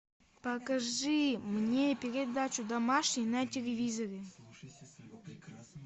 покажи мне передачу домашний на телевизоре